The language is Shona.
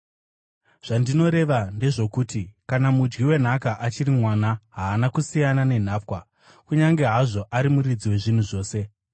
Zvandinoreva ndezvokuti kana mudyi wenhaka achiri mwana, haana kusiyana nenhapwa, kunyange hazvo ari muridzi wezvinhu zvose.